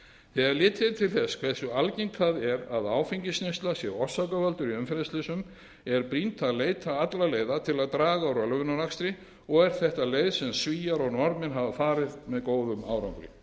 þegar litið er til þess hversu algengt það er að áfengisneysla orsaki umferðarslys er brýnt að leita allra leiða til að draga úr ölvunarakstri og er þetta leið sem svíar og norðmenn hafa farið með góðum árangri